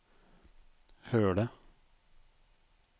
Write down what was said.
Høle